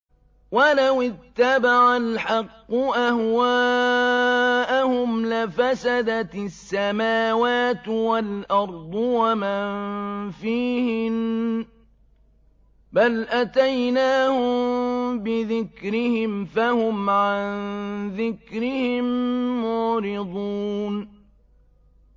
وَلَوِ اتَّبَعَ الْحَقُّ أَهْوَاءَهُمْ لَفَسَدَتِ السَّمَاوَاتُ وَالْأَرْضُ وَمَن فِيهِنَّ ۚ بَلْ أَتَيْنَاهُم بِذِكْرِهِمْ فَهُمْ عَن ذِكْرِهِم مُّعْرِضُونَ